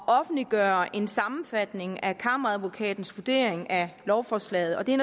offentliggøre en sammenfatning af kammeradvokatens vurdering af lovforslaget og det